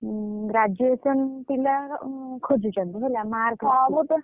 Graduation ପିଲା ଖୋଜୁଛନ୍ତି ହେଲା mark ଦେଖିକି।